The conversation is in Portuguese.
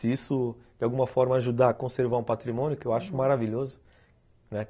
Se isso, de alguma forma, ajudar a conservar um patrimônio, que eu acho maravilhoso, né.